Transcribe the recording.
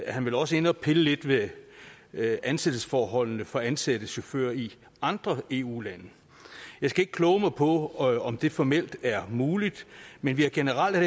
er han vel også inde at pille lidt ved ved ansættelsesforholdene for ansatte chauffører i andre eu lande jeg skal ikke kloge mig på om det formelt er muligt men generelt er